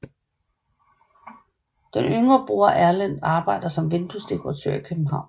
Den yngste bror Erlend arbejder som vinduesdekoratør i København